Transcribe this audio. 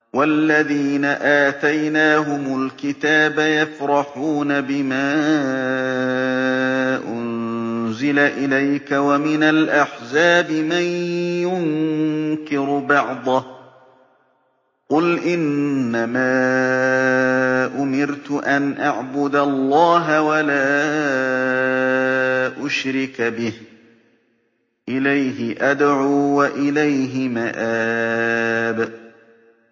وَالَّذِينَ آتَيْنَاهُمُ الْكِتَابَ يَفْرَحُونَ بِمَا أُنزِلَ إِلَيْكَ ۖ وَمِنَ الْأَحْزَابِ مَن يُنكِرُ بَعْضَهُ ۚ قُلْ إِنَّمَا أُمِرْتُ أَنْ أَعْبُدَ اللَّهَ وَلَا أُشْرِكَ بِهِ ۚ إِلَيْهِ أَدْعُو وَإِلَيْهِ مَآبِ